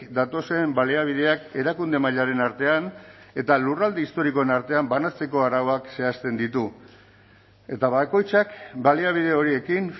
datozen baliabideak erakunde mailaren artean eta lurralde historikoen artean banatzeko arauak zehazten ditu eta bakoitzak baliabide horiekin